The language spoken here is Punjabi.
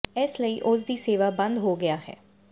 ਇਸ ਲਈ ਉਸ ਦੀ ਸੇਵਾ ਬੰਦ ਹੋ ਗਿਆ ਹੈ